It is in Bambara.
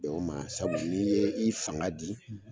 Bɛn o ma sabu n'i ye i fanga di